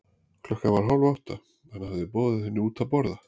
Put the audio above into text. Klukkan var hálf átta, hann hafði boðið henni henni út að borða.